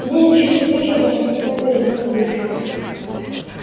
в десять часов вечера он уж стоял перед домом графини